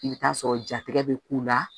I bɛ taa sɔrɔ jatigɛ bɛ k'u la